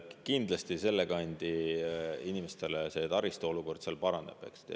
Kindlasti selle kandi inimestele see taristu olukord seal paraneb.